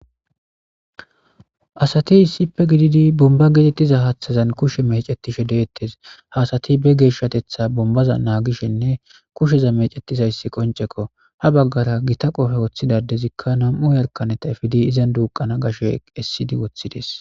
asati issippe gididi bomba gitettiza haaththazan kushe mecetishe deettes haasati be geeshshatetha bombaza naagishenne kusheza mecetiza issi qoncekko ha baggara gita qofe woththidadezikka nam7u yalkaneta ifidi izan duuqana gashe essidi woththides